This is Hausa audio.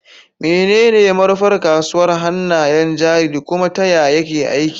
Menene manufar kasuwar hannayen jari, kuma ta yaya yake aiki?